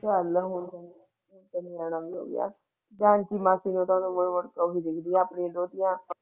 ਚੱਲ ਹੋਣ ਤੇ ਜਾ ਮਾਸੀ ਦੀ ਉਮਰ ਵੀ ਵੱਡੀ ਹੈ ਆਪਣੀ ਹੈ